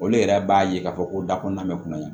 Olu yɛrɛ b'a ye k'a fɔ ko da kɔnɔna mɛn kunna yen